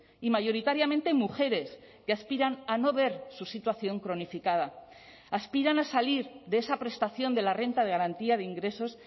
y mayoritariamente mujeres que aspiran a no ver su situación cronificada aspiran a salir de esa prestación de la renta de garantía de ingresos